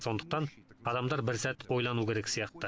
сондықтан адамдар бір сәт ойлану керек сияқты